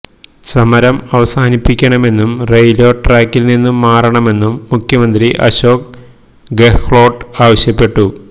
സമരം അവസാനിപ്പിക്കണമെന്നും റെയില്വേ ട്രാക്കില് നിന്നും മാറണമെന്നും മുഖ്യമന്ത്രി അശോക് ഗെഹ്ലോട്ട് ആവശ്യപ്പെട്ടു